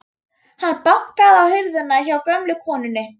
Hann bankaði á hurðina hjá gömlu konunni.